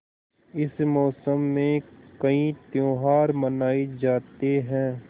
इस मौसम में कई त्यौहार मनाये जाते हैं